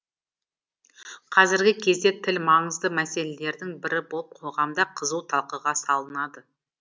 қазіргі кезде тіл маңызды мәселелердің бірі болып қоғамда қызу талқыға салынады